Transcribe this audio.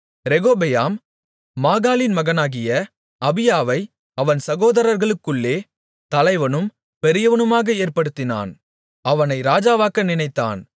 ரெகொபெயாம் மாகாளின் மகனாகிய அபியாவை அவன் சகோதரர்களுக்குள்ளே தலைவனும் பெரியவனுமாக ஏற்படுத்தினான் அவனை ராஜாவாக்க நினைத்தான்